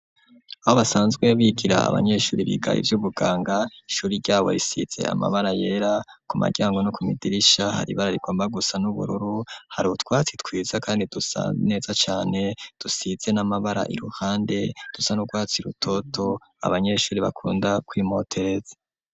Aho basanzwe bigira abanyeshuri biga ivyubuganga ishuri ryabo risize amabara yera ku mu ryango no ku madirisha hari ibara rigomba gusa n'ubururu hari utwatsi twiza kandi dusa neza cane dusize n'amabara iruhande dusa n'urwatsi rutoto abanyeshuri bakunda kwimotereza.